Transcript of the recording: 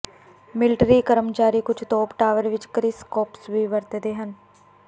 military ਕਰਮਚਾਰੀ ਕੁਝ ਤੋਪ ਟਾਵਰ ਵਿਚ ਕਰਿਸਕੋਪਸ ਵੀ ਵਰਤਦੇ ਹਨ